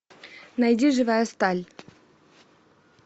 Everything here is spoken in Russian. найди живая сталь